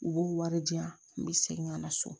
U b'u wari di yan n bɛ segin ka na so